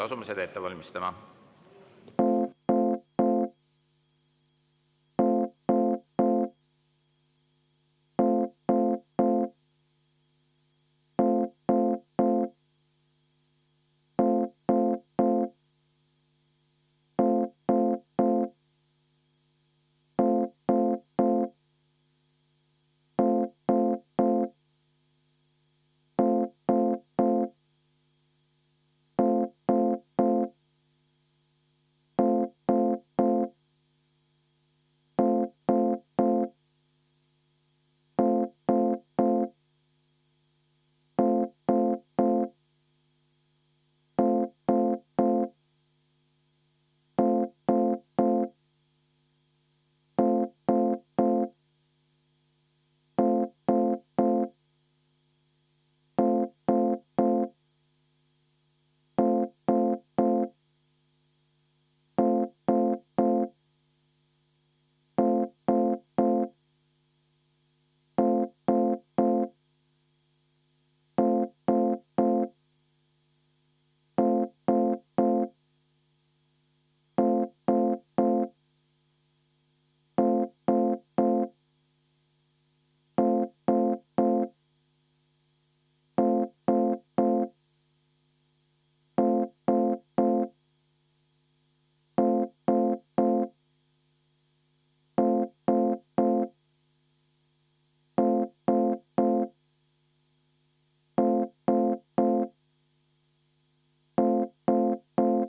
Asume seda ette valmistama.